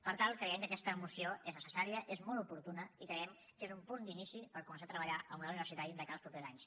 per tant creiem que aquesta moció és necessària és molt oportuna i creiem que és un punt d’inici per començar a treballar en el model universitari de cara als propers anys